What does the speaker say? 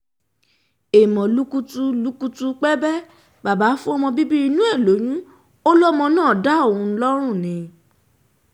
èèmọ̀ lùkùtù lùkùtù pébẹ baba fọmọ bíbí inú ẹ̀ lóyún ó lọmọ náà ń dá òun lọ́rùn ni